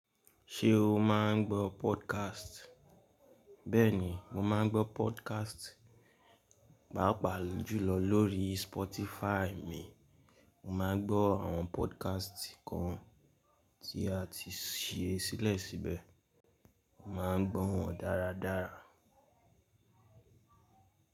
Ṣé o máa ń gbọ́ podcast? Bẹ́ẹ̀ni, mo máa ń gbọ́ podcast, pàápàá jùlọ lórí Spotify mi. Mo máa ń gbọ́ àwọn podcast kan tí a ti ṣe sílẹ̀ síbẹ̀, mo máa ń gbọ́ wọn dáradára.